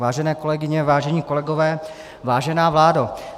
Vážené kolegyně, vážení kolegové, vážená vládo.